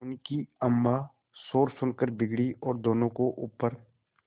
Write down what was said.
उनकी अम्मां शोर सुनकर बिगड़ी और दोनों को ऊपर